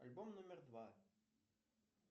альбом номер два